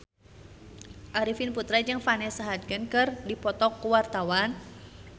Arifin Putra jeung Vanessa Hudgens keur dipoto ku wartawan